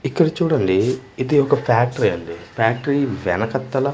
ఇక్కడ చూడండి ఇది ఒక ఫ్యాక్టరీ అండి ఫ్యాక్టరీ వెనకత్తల--